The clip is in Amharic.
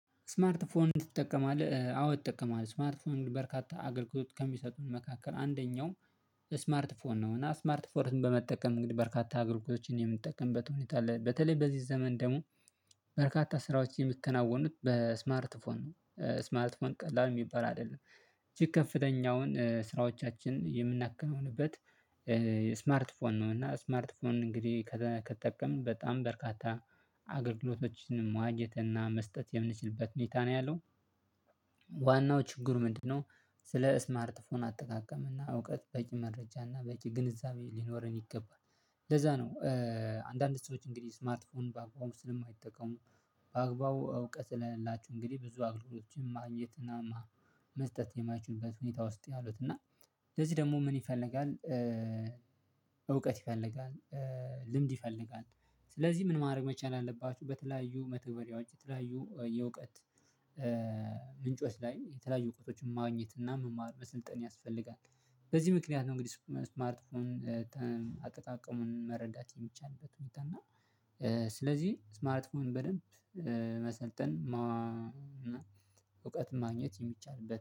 ስማርት ፎን ትጠቀማለህ? አዎ እጠቀማለው ስማርት ፎን በርካታ አገልግሎት ከሚሰጡን መካከል አንደኛው ስማርት ፎን ነው። እና ስማርት ፎን በመጠቀም እንግዲህ በርካታ አገልግሎቶችን የምንጠቀምበት ሁኔታ አለ በተለይ በዚህ ዘመን ደግሞ በርካታ ስራዎች የሚከናወኑት በስማርት ፎን ስማርት ፎን ቀላል የሚባል አይደለም። እጅግ ከፍተኛውን ስራዎቻችንን የምናከናውንበት ስማርት ፎን ነው። እና ስማርት ፎን እንግዲህ ከተጠቀምን በጣም በርካታ አገልግሎቶችንም ማግኘት እና መስጠት የምንችልበት ሁኔታ ነው ያለው። ዋናው ችግር ምንድነው? ስለ ስማርትፎን አጠቃቀም እና እውቀት በቂ መረጃ እና በቂ ግንዛቤ ሊኖረን ይገባል። ለዛ ነው። አንዳንድ ሰዎች እንግዲህ ስማርትፎን በአግባቡ ስለማይጠቀሙ። በአግባቡ እውቀት ስለሌላችሁ እንግዲህ ብዙ አገልግሎቶችን ማግኘትና መስጠት የማይችሉበት ሁኔታ ውስጥ ያሉት እና ለዚህ ደግሞ ምን ይፈልጋል? እውቀት ይፈልጋል። ልምድ ይፈልጋል። ስለዚህ ምን ማድረግ መቻል አለባችሁ በተለያዩ መተግበሪያዎች በተለያዩ የእውቀት ምንጮች ላይ የተለያዩ እውቀቶችን ማግኘት እና መማር መስልጠን ያስፈልጋል። በዚህ ምክንያት ነው። እንግዲህ ስማርት ፎን አጠቃቀሙን መረዳት የሚቻልበት ሁኔታ እና ስለዚህ ስማርት ፎን በደንብ መሰልጠን እውቀት ማግኘት የሚቻልበት